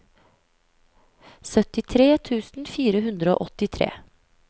syttitre tusen fire hundre og åttitre